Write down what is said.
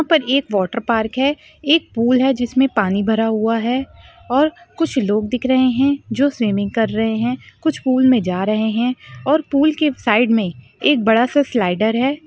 यहा पर एक वॉटर पार्क है एक पूल है जिसमे पानी भरा हुआ है और कुछ लोग दिख रहे है जो स्विमिंग कर रहे है कुछ पूल में जा रहे है और पूल के साइड मे एक बड़ा सा स्लाइडर है।